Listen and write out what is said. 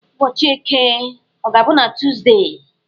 Ụbọchị Eke ọ ga-abụ na Tọzdee?